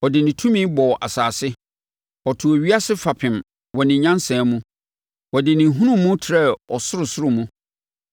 “Ɔde ne tumi bɔɔ asase; ɔtoo ewiase fapem wɔ ne nyansa mu na ɔde ne nhunumu trɛɛ ɔsorosoro mu.